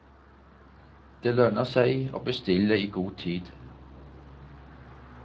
Det lønner seg å bestille i god tid.